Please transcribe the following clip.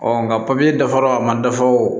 nka papiye dafara a ma dafa o